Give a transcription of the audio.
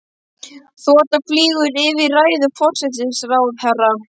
Þota flýgur yfir í ræðu forsætisráðherra.